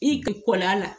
I kɔlɔn a la